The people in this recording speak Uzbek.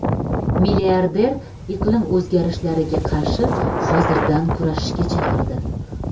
Milliarder iqlim o‘zgarishlariga qarshi hozirdan kurashishga chaqirdi.